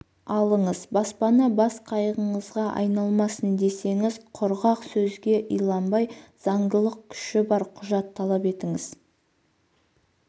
алыңыз баспана бас қайғыңызға айналмасын десеңіз құрғақ сөзге иланбай заңдылық күші бар құжат талап етіңіз